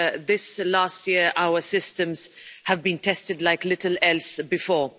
Over the last year, our systems have been tested like little else before.